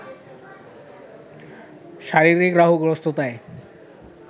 শারীরিক রাহুগ্রস্ততায়